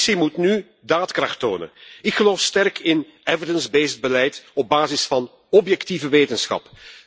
De Commissie moet nu daadkracht tonen. Ik geloof sterk in evidence based beleid op basis van objectieve wetenschap.